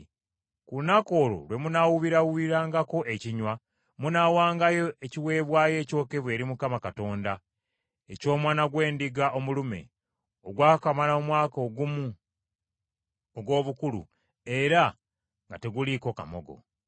Ku lunaku olwo lwe munaawuubirawuubirangako ekinywa, munaawangayo ekiweebwayo ekyokebwa eri Mukama Katonda eky’omwana gw’endiga omulume, ogwakamala omwaka gumu ogw’obukulu era nga teguliiko kamogo.